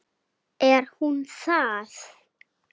Er hún það?